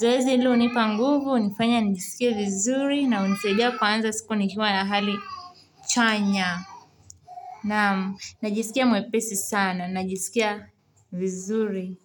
zoezi hilo hunipa nguvu hunifanya nijisikie vizuri na unisaidia kuanza siku nikiwa na hali chanya naam najisikia mwepesi sana najisikia vizuri.